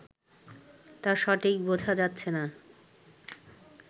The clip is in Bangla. তা সঠিক বোঝা যাচ্ছে না